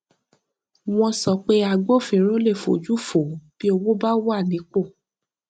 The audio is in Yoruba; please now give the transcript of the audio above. wọn sọ pé agbófinró le fojú fo bí owó bá wà nípò